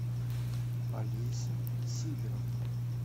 олеся сидоровна